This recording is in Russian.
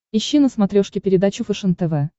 ищи на смотрешке передачу фэшен тв